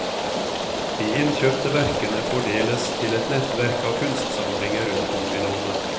De innkjøpte verkene fordeles til et nettverk av kunstsamlinger rundt om i landet.